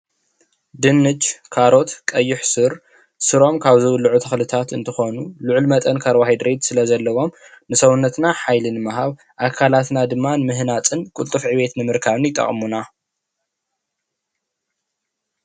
ድንሽ፣ ካሮት፣ ቀይሱር ስሮም ካብ ዝብልዑ ተኽልታት እንትኽኑ ልዑል መጠን ካርቦ ሃይድሬት ስለ ዘለዎም ንሰብነትና ሓይሊ ንምሃብ ኣካላትና ድማ ንምህናፅን ቅልጡፍ ዕቤት ንምርካብን ይጠቕሙና፡፡